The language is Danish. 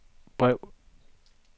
brev